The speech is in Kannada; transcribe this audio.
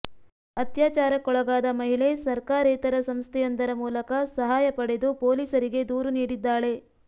ಅತ್ಯಾಚಾರಕ್ಕೊಳಗಾದ ಮಹಿಳೆ ಸರ್ಕಾರೇತರ ಸಂಸ್ಥೆಯೊಂದರ ಮೂಲಕ ಸಹಾಯ ಪಡೆದು ಪೊಲೀಸರಿಗೆ ದೂರು ನೀಡಿದ್ದಾಳೆ